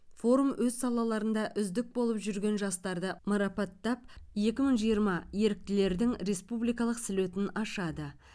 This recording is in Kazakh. форум өз салаларында үздік болып жүрген жастарды марапаттап екі мың жиырма еріктілердің республикалық слетін ашады